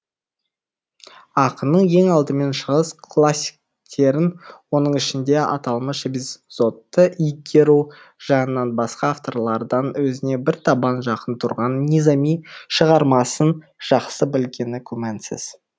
ақынның ең алдымен шығыс классиктерін оның ішінде аталмыш эпизодты игеру жағынан басқа авторлардан өзіне бір табан жақын тұрған низами шығармасын жақсы білгені күмәнсіз